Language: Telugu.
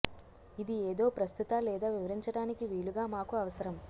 ఇది ఏదో ప్రస్తుత లేదా వివరించడానికి వీలుగా మాకు అవసరం